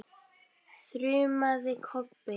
þrumaði Kobbi.